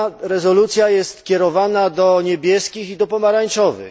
Rezolucja ta jest kierowana do niebieskich i do pomarańczowych.